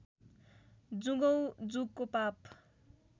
जुगौँ जुगको पाप